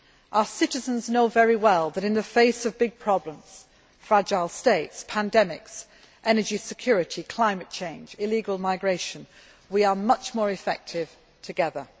Our citizens know very well that in the face of big problems fragile states, pandemics, energy security, climate change and illegal migration we are much more effective together.